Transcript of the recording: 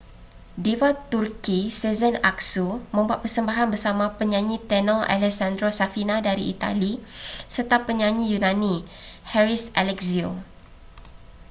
diva turki sezen aksu membuat persembahan bersama penyanyi tenor alessandro safina dari itali serta penyanyi yunani haris alexiou